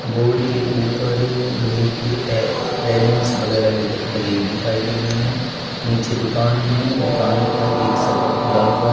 Board के ऊपर लोहे की रैलिंग्स वगैरा लगे दिखाई दे रही है नीचे दुकान है दुकान का एक शटर खुला हुआ है।